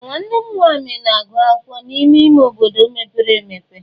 Ee! Nwanne m nwanyị na-agụ akwụkwọ n'ime ime obodo mepere emepe.